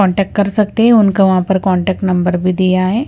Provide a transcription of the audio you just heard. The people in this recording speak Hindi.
कांटेक्ट कर सकते हैं उनका वहां पर कांटेक्ट नंबर भी दिया है ।